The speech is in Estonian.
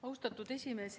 Austatud esimees!